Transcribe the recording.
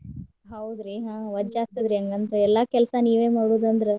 ಹೌದ್ರಿ ಹ್ಮ್ ವಜ್ಜಾಗ್ತದ ಹಂಗಂದ್ರ. ಎಲ್ಲಾ ಕೆಲ್ಸಾ ನೀವೇ ಮಾಡೋದಂದ್ರ.